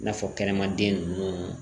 I n'a fɔ kɛnɛma den ninnu